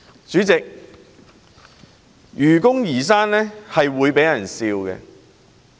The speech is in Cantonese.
主席，愚公移山是會被嘲笑的。